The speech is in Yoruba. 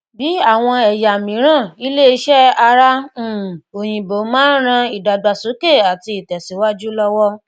bí àwọn ẹyà miran ilẹ ìṣe ara um oyinbo má ń rán idagbasoke àti itesiwaju lowo